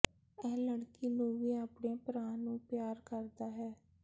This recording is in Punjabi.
ਇਹ ਲੜਕੀ ਨੂੰ ਵੀ ਆਪਣੇ ਭਰਾ ਨੂੰ ਪਿਆਰ ਕਰਦਾ ਹੈ